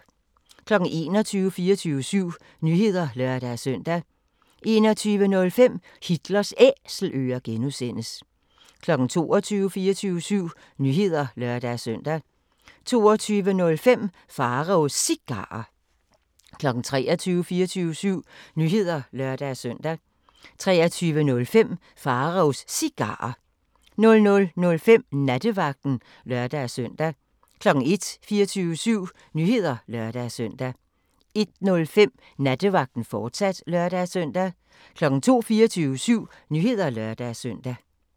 21:00: 24syv Nyheder (lør-søn) 21:05: Hitlers Æselører (G) 22:00: 24syv Nyheder (lør-søn) 22:05: Pharaos Cigarer 23:00: 24syv Nyheder (lør-søn) 23:05: Pharaos Cigarer 00:05: Nattevagten (lør-søn) 01:00: 24syv Nyheder (lør-søn) 01:05: Nattevagten, fortsat (lør-søn) 02:00: 24syv Nyheder (lør-søn)